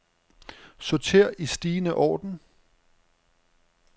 Sorter i stigende orden.